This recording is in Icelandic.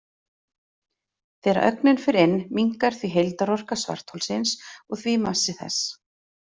Þegar ögnin fer inn minnkar því heildarorka svartholsins og því massi þess.